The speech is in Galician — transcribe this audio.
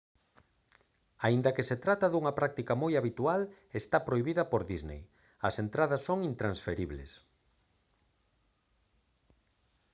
aínda que se trata dunha práctica moi habitual está prohibida por disney as entradas son intransferibles